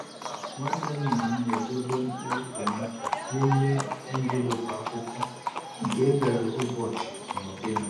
Nwanne nna m na-edobe mkpụrụ tomato n’ime envelopu akwụkwọ nke e dere ụbọchị na ụdị ha.